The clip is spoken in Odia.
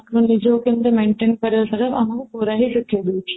ନିଜକୁ କେମିତି maintain କରିବା ସେଇଟା ପୁରା ହିଁ ଶିଖେଇ ଦଉଛି